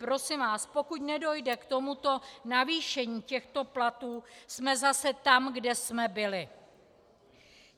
Prosím vás, pokud nedojde k tomuto navýšení těchto platů, jsme zase tam, kde jsme byli.